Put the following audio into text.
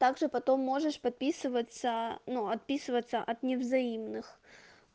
также потом можешь подписываться ну отписываться от невзаимных